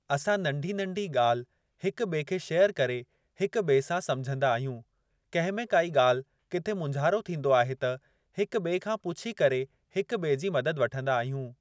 असां नंढी नंढी ॻाल्हि हिक ॿिए खे शेयरु करे हिक ॿिए सां सम्झंदा आहियूं। कंहिं में काई ॻाल्हि किथे मुंझारो थींदो आहे त हिक ॿिए खां पुछी करे हिक ॿिए जी मदद वठंदा आहियूं।